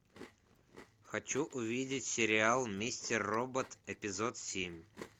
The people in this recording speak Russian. хочу увидеть сериал мистер робот эпизод семь